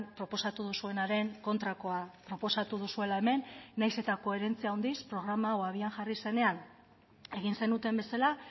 proposatu duzuenaren kontrakoa proposatu duzuela hemen nahiz eta koherentzia handiz programa hau abian jarri zenean egin zenuten bezala